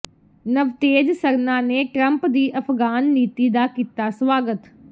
ਨਵਤੇਜ ਸਰਨਾ ਨੇ ਟਰੰਪ ਦੀ ਅਫਗਾਨ ਨੀਤੀ ਦਾ ਕੀਤਾ ਸਵਾਗਤ